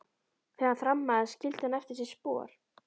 Þegar hann þrammaði skildi hann eftir sig spor.